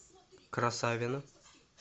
красавино